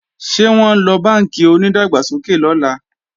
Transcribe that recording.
Ṣé wọ́n ńlọ bánkì onídàgbàsókè lọ́la?